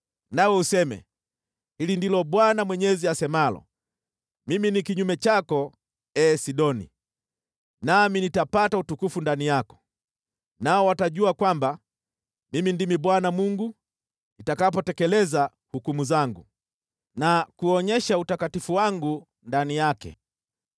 nawe useme: ‘Hili ndilo Bwana Mwenyezi asemalo: “ ‘Mimi ni kinyume chako, ee Sidoni, nami nitapata utukufu ndani yako. Nao watajua kwamba Mimi ndimi Bwana , nitakapotekeleza hukumu zangu na kuonyesha utakatifu wangu ndani yake.